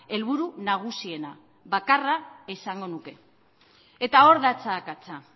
helburu nagusiena bakarra esango nuke eta hor datza akatsa